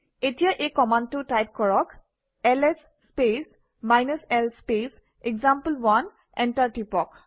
এতিয়া এই কমাণ্ডটো টাইপ কৰক - LS space l space example one enter টিপক